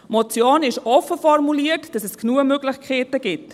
Die Motion ist offen formuliert, damit es genug Möglichkeiten gibt.